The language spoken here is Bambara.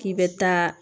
K'i bɛ taa